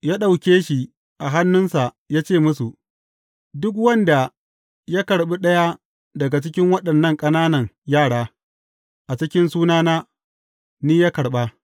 Ya ɗauke shi a hannunsa, ya ce musu, Duk wanda ya karɓi ɗaya daga cikin waɗannan ƙananan yara a cikin sunana, ni ya karɓa.